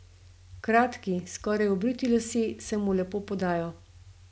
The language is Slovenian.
Kratki, skoraj obriti lasje se mu lepo podajo.